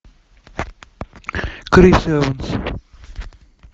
крис эванс